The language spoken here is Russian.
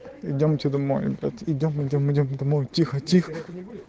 идёмте домовенка идём идём идём домой тихо тихо